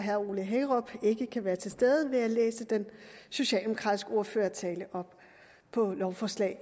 herre ole hækkerup ikke kan være til stede vil jeg læse den socialdemokratiske ordførertale for lovforslag